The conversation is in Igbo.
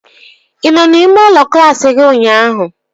Ị nọ n'ime ụlọ klaasị gị ụnyaahụ?